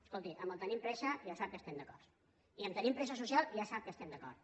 escolti amb el tenim pressa ja sap que estem d’acord i amb tenim pressa social ja sap que estem d’acord